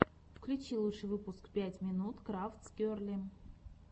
включи лучший выпуск пять минут крафтс герли